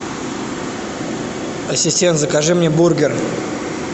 ассистент закажи мне бургер